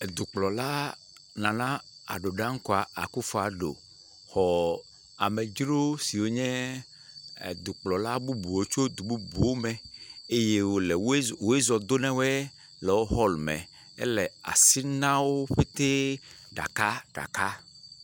Edukplɔla, Nana Addo Dankwa Akuffo Addo xɔ amedzro siwo nye edukplɔlawo tso du bubu me eye wòle woe zɔ woe zɔ do na woe le wo hɔɔlume. El asi na wo ƒetee ɖakaɖaka.